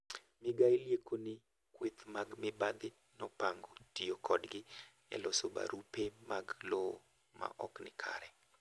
Migao liekoni kweth mag mibadhi nopango tiyo kodgi eloso barupe mag lowo ma ok nikare.